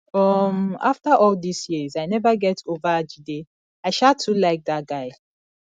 um after all dis years i never get over jide i um too like dat guy